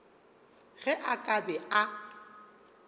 ge a ka be a